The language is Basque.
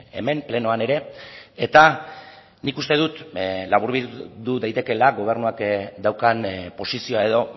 hemen plenoan ere eta nik uste dut laburbildu daitekela gobernuak daukan posizioa edo